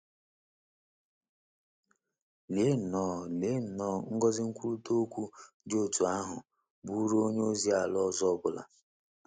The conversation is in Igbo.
Lee nnọọ Lee nnọọ ngọzi nkwurịta okwu dị otú ahụ bụụrụ onye ozi ala ọzọ ọ bụla!